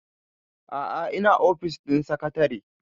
a'a ina ofis ɗin sakatare